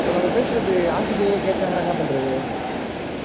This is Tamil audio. இப்ப நம்ம பேசறது ஆசிரியை கேட்டாங்கனா என்ன பண்றது.